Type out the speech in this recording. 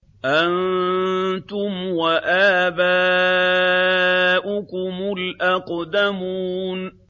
أَنتُمْ وَآبَاؤُكُمُ الْأَقْدَمُونَ